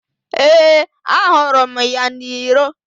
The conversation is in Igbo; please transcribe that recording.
Ee, ahụrụ m ya n'iro.